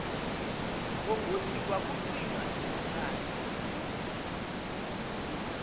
ngokuthi kwakucinywa izibane